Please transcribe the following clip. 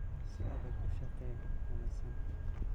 Si adag u shaqee, ha nasan